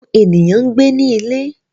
Awọn eniyan n gbe ni ile